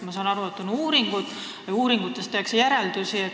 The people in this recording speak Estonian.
Ma saan aru, et tehakse uuringuid ja uuringutest tehakse järeldusi.